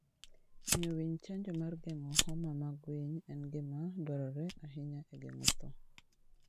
Miyo winy chanjo mar geng'o homa amg winy en gima dwarore ahinya e geng'o tho.